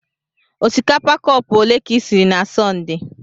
Osikapa cọpu ole ka isiri na Sọnde?